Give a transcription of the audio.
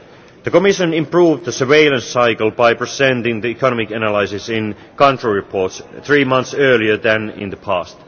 The Commission improved the surveillance cycle by presenting the economic analysis in country reports three months earlier than in the